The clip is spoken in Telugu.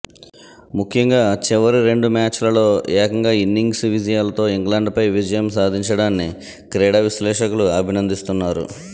ముఖ్యంగా చివరి రెండు మ్యాచ్ల్లో ఏకంగా ఇన్నింగ్స్ విజ యాలతో ఇంగ్లండ్పై విజయం సాధించడాన్ని క్రీడా విశ్లేషకులు అభినందిస్తున్నారు